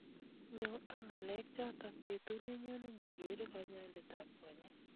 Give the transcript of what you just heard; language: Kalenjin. Nyoo ak ng'alek chotok betut nenyone nyigere kanyaindet ab konyeek